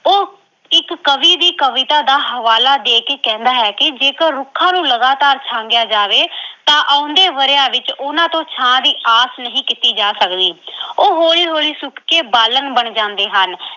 ਉਹ ਇੱਕ ਕਵੀ ਦੀ ਕਵਿਤਾ ਦਾ ਹਵਾਲਾ ਦੇ ਕੇ ਕਹਿੰਦਾ ਹੈ ਕਿ ਜੇਕਰ ਰੁੱਖਾਂ ਨੂੰ ਲਗਾਤਾਰ ਛਾਂਗਿਆ ਜਾਵੇ ਅਹ ਤਾਂ ਆਉਂਦੇ ਵਰ੍ਹਿਆਂ ਵਿੱਚ ਉਹਨਾਂ ਤੋਂ ਛਾਂ ਦੀ ਆਸ ਨਹੀਂ ਕੀਤੀ ਜਾ ਸਕਦੀ ਉਹ ਹੌਲੀ-ਹੌਲੀ ਸੁੱਕ ਕੇ ਬਾਲਣ ਬਣ ਜਾਂਦੇ ਹਨ।